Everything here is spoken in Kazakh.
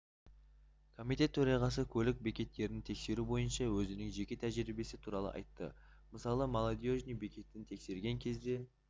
комитет төрағасы көлік бекеттерін тексеру бойынша өзінің жеке тәжірибесі туралы айтты мысалы молодежный бекетін тексерген кезде